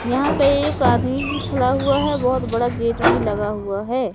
यहां पे एक आदमी भी खला हुआ है बहुत बड़ा गेट भी लगा हुआ है।